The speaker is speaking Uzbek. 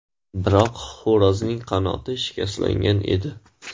Biroq xo‘rozning qanoti shikastlangan edi.